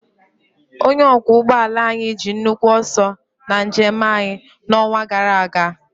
Onye ọkwọ ụgbọ ala anyị ji nnukwu ọsọ na njem anyị n'ọnwa gara aga.